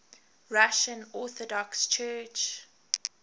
russian orthodox church